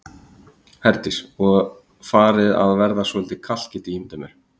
Herdís: Og farið að verða svolítið kalt get ég ímyndað mér?